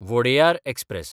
Wodeyar express